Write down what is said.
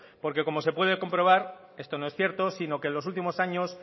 porque como se puede comprobar esto no es cierto sino que en los último años